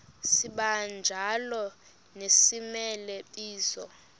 sibanjalo nezimela bizo